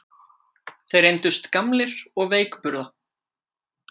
Þeir reyndust gamlir og veikburða